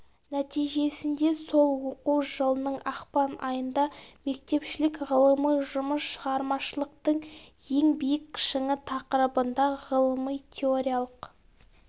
нәтижесінде сол оқу жылының ақпан айында мектепішілік ғылыми жұмыс шығармашылықтың ең биік шыңы тақырыбында ғылыми теориялық